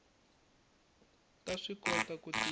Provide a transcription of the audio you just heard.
ta swi kota ku tirha